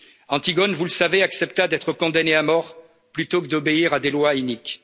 action. Antigone, vous le savez, accepta d'être condamnée à mort plutôt que d'obéir à des lois